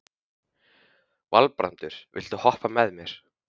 Valbrandur, viltu hoppa með mér?